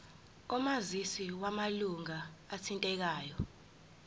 omazisi wamalunga athintekayo